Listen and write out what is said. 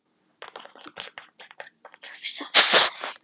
Blóðið þrýstist við þetta úr sleglum í slagæðarnar.